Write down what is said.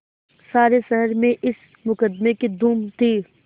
सारे शहर में इस मुकदमें की धूम थी